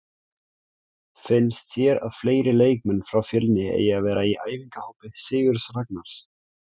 Finnst þér að fleiri leikmenn frá Fjölni eigi að vera í æfingahópi Sigurðs Ragnars?